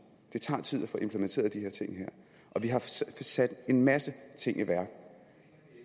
det tager tid at få implementeret de her ting vi har sat en masse ting i værk